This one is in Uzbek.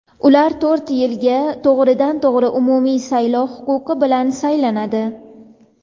ular to‘rt yilga to‘g‘ridan-to‘g‘ri umumiy saylov huquqi bilan saylanadi.